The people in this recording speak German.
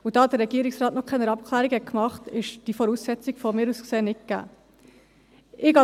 Da der Regierungsrat noch keine Abklärungen gemacht hat, ist diese Voraussetzung aus meiner Sicht nicht gegeben.